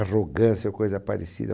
Arrogância ou coisa parecida.